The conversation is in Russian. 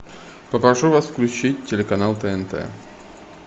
попрошу вас включить телеканал тнт